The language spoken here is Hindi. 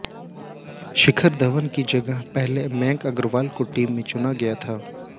शिखर धवन की जगह पहले मयंक अग्रवाल को टीम में चुना गया था